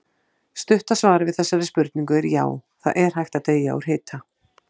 Stutta svarið við þessari spurningu er já, það er hægt að deyja úr hita.